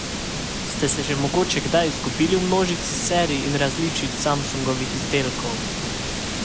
Ste se že mogoče kdaj izgubili v množici serij in različic Samsungovih izdelkov?